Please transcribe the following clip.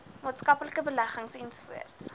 maatskaplike beleggings ens